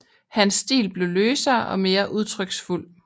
Hans stil blev løsere og mere udtryksfuld